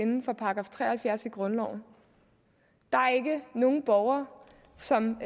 inde for § tre og halvfjerds i grundloven der er ikke nogen borgere som